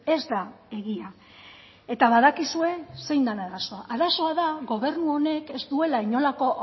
ez da egia eta badakizue zein den arazoa arazoa da gobernu honek ez duela inolako